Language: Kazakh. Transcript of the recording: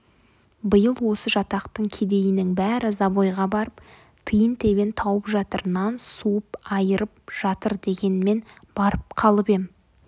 биыл осы жатақтың кедейінің бәрі забойға барып тиын-тебен тауып жатыр нан суып айырып жатыр дегенмен барып қалып ем